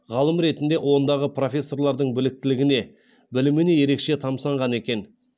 ғалым ретінде ондағы профессорлардың біліктілігіне біліміне ерекше тамсанған екен